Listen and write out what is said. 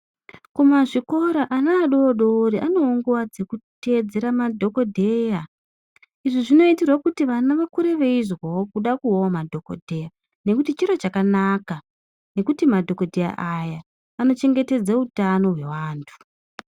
Kumazvikora ana adodori anewo nguwa dzekuteedzera madhokodheya, izvi zvinoitirwe kuti vana vakure veizwawo kuda kuvawo madhokodheya nekuti chiro chakanaka, ngekuti madhokodheya aya anochengetedze utano hwevantu.